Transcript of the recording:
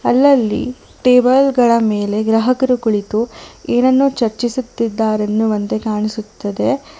ಅಲ್ಲಲ್ಲಿ ಟೇಬಲ್ ಗಳ ಮೇಲೆ ಗ್ರಾಹಕರು ಕುಳಿತು ಏನನ್ನೋ ಚರ್ಚಿಸುತ್ತಿದ್ದಾರೆ ಎನ್ನುವಂತೆ ಕಾಣಿಸುತ್ತದೆ.